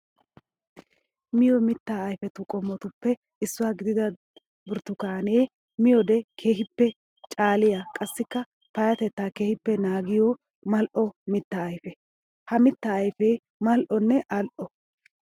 Miyo mitta ayfetu qomottuppe issuwa gididda burttukaane miyoode keehippe caaliya qassikka payatetta keehippe naagiyo mali'o mitta ayfe. Ha mitta ayfe mali'onne ali'o.